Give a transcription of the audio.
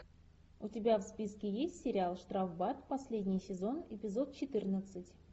у тебя в списке есть сериал штрафбат последний сезон эпизод четырнадцать